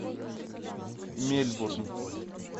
мельбурн